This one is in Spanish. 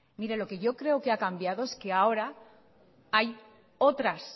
mire lo que yo creo que ha cambiado es que ahora hay otras